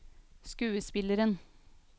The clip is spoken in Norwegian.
skuespilleren